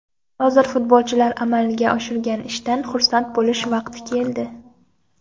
Hozir futbolchilar amalga oshirgan ishdan xursand bo‘lish vaqti keldi.